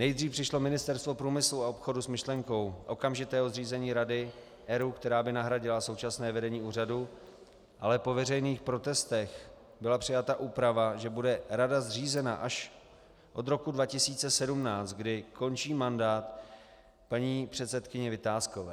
Nejdřív přišlo Ministerstvo průmyslu a obchodu s myšlenkou okamžitého zřízení rady ERÚ, která by nahradila současné vedení úřadu, ale po veřejných protestech byla přijata úprava, že bude rada zřízena až od roku 2017, kdy končí mandát paní předsedkyni Vitáskové.